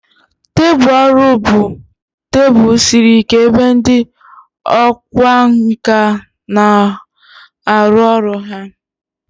Tebụl ọrụ bụ tebụl siri ike ebe ndị ọkwá nkà na-arụ ọrụ ha.